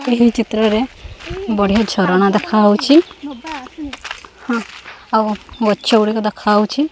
ଏହି ଚିତ୍ରରେ ବଢ଼ିଆ ଝରଣା ଦେଖାହୋଉଛି ଆଉ ଗଛ ଗୁଡ଼ିକ ଦେଖାହୋଉଛି।